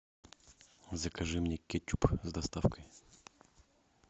закажи мне кетчуп с доставкой